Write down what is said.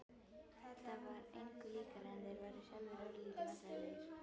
Það var engu líkara en þeir væru sjálfir örlítið vandræðalegir.